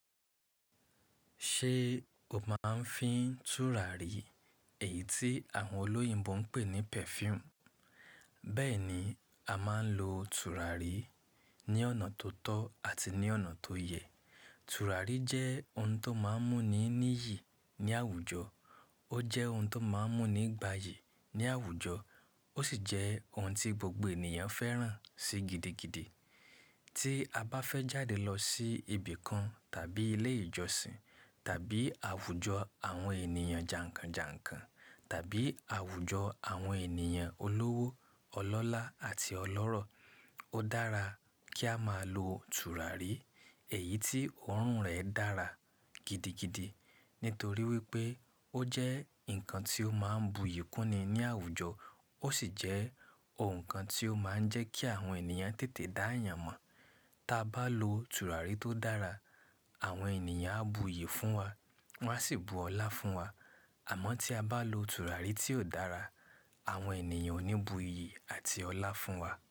Ṣé o máa ń fi tùràrí, èyí tí àwọn olóyìnbo ń pè ní perfume? Bẹ́ẹ̀ ni, a máa ń lo tùràrí ní ọ̀nà tó tọ́ àti ní ọ̀nà tó yẹ. Tùràrí jẹ́ ohun tó máa ń mú ni níyì ní àwùjọ, ó jẹ́ ohun tó máa ń mú ni gbàyì ní àwùjọ, ó sì jẹ́ ohun tí gbogbo ènìyàn fẹ́ràn sí gidigidi. Tí a bá fẹ́ jáde lọ sí ibì kan tàbí ilé ìjọsìn tàbí àwùjọ àwọn ènìyàn jànkànjànkàn tàbí àwùjọ àwọn ènìyàn olówó, ọlọ́lá àti ọlọ́rọ̀, ó dára kí a máa lo tùràrí èyí tí òórùn rẹ̀ dára gidigidi. Nítorí wípé ó jẹ́ ǹkan tí ó máa ń bu iyì kúnni ní àwùjọ, ó sì jẹ́ ǹkan tí ó máa ń jẹ́ kí àwọn ènìyàn tètè dá yàn mọ̀. Tí a bá lo tùràrí tó dára, àwọn ènìyàn á bu iyì fún wa, wọ́n á sì bu ọlá fún wa. Àmọ́ tí a bá lo tùràrí tí ò dára, àwọn ènìyàn ò ní bu iyì àti ọlá fún wa.